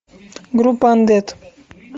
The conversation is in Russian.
группа андет